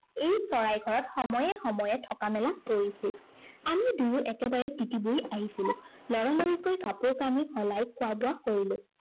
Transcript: এই চৰাইঘৰত সময়ে সময়ে থকা মেলা কৰিছিল। আমি দুয়ো একেবাৰে তিতি বুৰি আহিছিলো। লৰালৰিকৈ কাপোৰকাণি সলাই খোৱা-বোৱা কৰিলো।